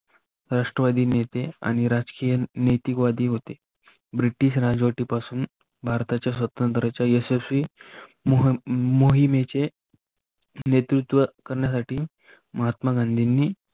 राष्ट्रवादी नेते आणि राजकीय नैतिकवदी होते. ब्रिटिश राजवती पासून भारताच्या स्वातंत्राच्या यशस्वी मोहिमेचे नेतृत्व करण्यासाठी महात्मा गांधींनी